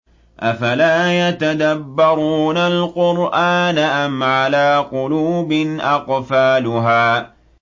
أَفَلَا يَتَدَبَّرُونَ الْقُرْآنَ أَمْ عَلَىٰ قُلُوبٍ أَقْفَالُهَا